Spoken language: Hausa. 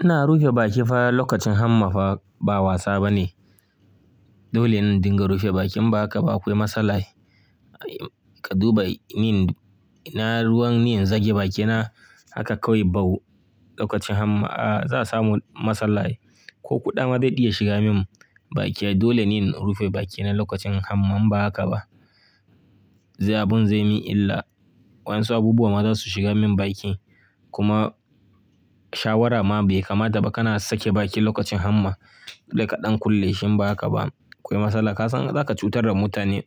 Ina rufe baki fa lokacin hamma fa ba wasa bane. Dole yin dinga rufe bakin in ba haka ba akwai matsala. Ka duba ni, ina ruwan ni in zage bakina haka kawai bau lokacin hama, a za samu matsala ai. Ko kuɗa ma zai iya shiga min baki. Dole ni in rufe bakina lokacin hama in ba haka ba. Abun zai mi illa. Wansu abubuwa ma za su shiga min baki. Kuma shawara ma bai kamata ba kana sake baki lokacin hama. Dai kaɗan kulle shi ba haka ba akwai matsala. Ka san za ka cutar da mutane,